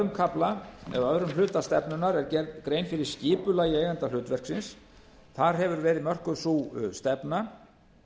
hleyp yfir í öðrum hluta stefnunnar er gerð grein fyrir skipulagi eigendahlutverksins þar hefur verið mörkuð sú stefna